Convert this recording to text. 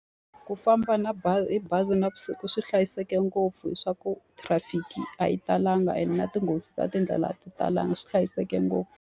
Ku famba na hi bazi navusiku swi hlayiseke ngopfu leswaku traffic a yi talanga, ene na tinghozi ta tindlela a ti talanga. Swi hlayiseke ngopfu.